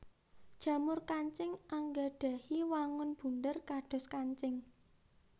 Jamur kancing anggadhahi wangun bunder kados kancing